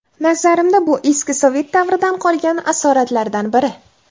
Nazarimda, bu eski sovet davridan qolgan asoratlardan biri.